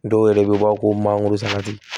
Dɔw yɛrɛ bɛ bɔ ko mangoro sati